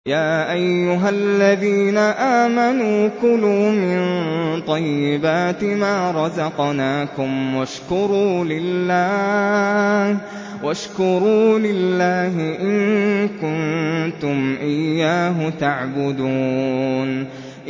يَا أَيُّهَا الَّذِينَ آمَنُوا كُلُوا مِن طَيِّبَاتِ مَا رَزَقْنَاكُمْ وَاشْكُرُوا لِلَّهِ إِن كُنتُمْ إِيَّاهُ تَعْبُدُونَ